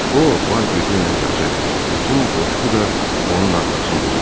O, var gücü ilə qaçır, bütün qoşqu da onun arxasınca gedirdi.